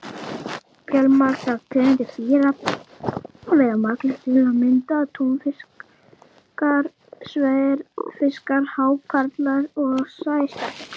Fjölmargar tegundir dýra veiða marglyttur, til að mynda túnfiskar, sverðfiskar, hákarlar og sæskjaldbökur.